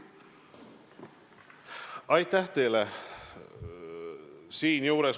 Aitäh teile!